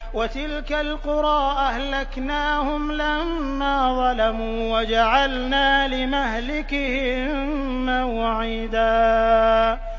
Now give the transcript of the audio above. وَتِلْكَ الْقُرَىٰ أَهْلَكْنَاهُمْ لَمَّا ظَلَمُوا وَجَعَلْنَا لِمَهْلِكِهِم مَّوْعِدًا